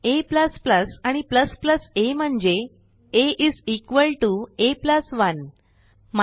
a आणि a म्हणजे आ आ 1